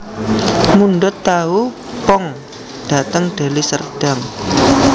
Mundhut tahu pong dateng Deli Serdang